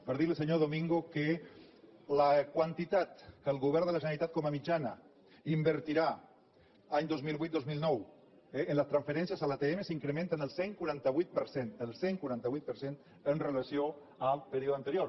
per dir li senyor domingo que la quantitat que el govern de la generalitat com a mitjana invertirà any dos mil vuit dos mil nou eh en les transferències a l’atm s’incrementa en el cent i quaranta vuit per cent el cent i quaranta vuit per cent amb relació al període anterior